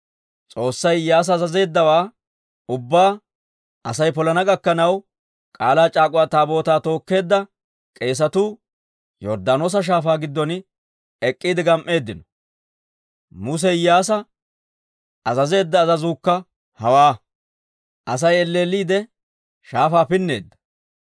S'oossay Iyyaasa azazeeddawaa ubbaa Asay polana gakkanaw, K'aalaa c'aak'uwa Taabootaa tookkeedda k'eesatuu Yorddaanoosa Shaafaa giddon ek'k'iide gam"eeddino; Muse Iyyaasa azazeedda azazuukka hewaa. Asay elleelliidde shaafaa pinneedda.